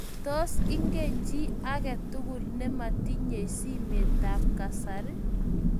Tos, ingen chii agetugul nimatinyei simetab kasari